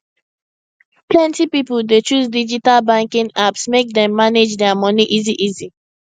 plenty people dey choose digital banking apps make dem manage their money easyeasy